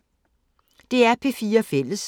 DR P4 Fælles